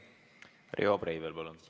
Riho Breivel, palun!